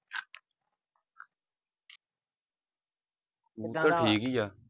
ਠੀਕ ਹੀ ਆ।